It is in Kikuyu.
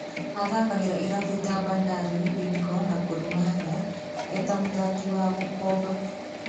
Athakagĩra irabũ ta Bandari, Bidco na Gor Mahia eta Mũthaki wa gũkobo.